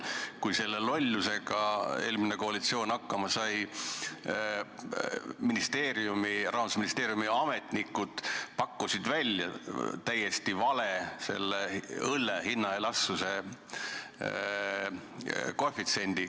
Kui eelmine koalitsioon selle lollusega hakkama sai, siis Rahandusministeeriumi ametnikud pakkusid välja täiesti vale õlle hinnaelastsuse koefitsiendi.